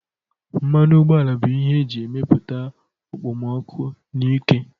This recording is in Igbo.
Mmanụ ụgbọala bụ ihe e ji emepụta okpomọkụ na ike